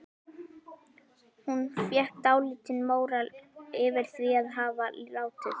Hún fékk dálítinn móral yfir því að hafa látið